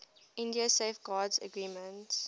india safeguards agreement